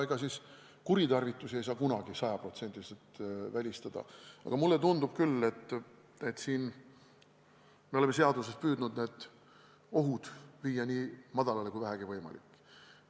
Ega kuritarvitusi ei saa kunagi sajaprotsendiliselt välistada, aga mulle tundub küll, et siin me oleme seaduses püüdnud need ohud viia nii väikseks kui vähegi võimalik.